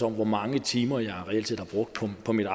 hvor mange timer jeg reelt har brugt på mit